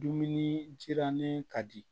Dumuni sirannen ka di